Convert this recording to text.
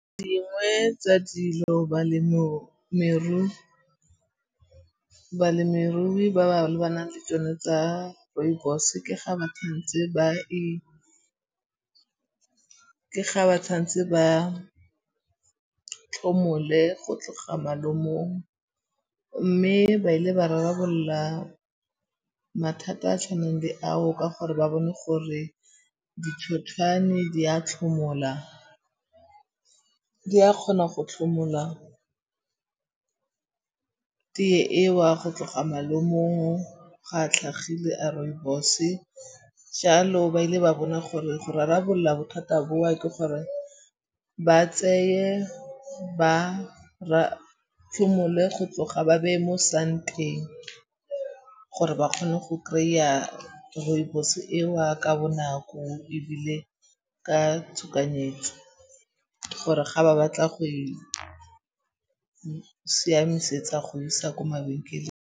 Dingwe tsa dilo balemirui ba ba lebanang le tsone tsa rooibos ke ga ba tshwanetse ba tlhomole go tloga malomong. Mme ba ile ba rarabolla mathata a a tshwaneng le ao ka gore ba bone gore ditlhotlhwane di a tlhomola. Di a kgona go tlhomola teye e wa go tloga malomong ga a tlhagile a rooibos-e. Jalo ba ile ba bona gore go rarabolla bothata boa ke gore ba tseye, ba go tloga ba beye mo santeng gore ba kgone go kry-a rooibos e wa ka bonako ebile ka tshokanyetso. Gore ga ba batla go e siamisetsa go e isa ko mabenkeleng.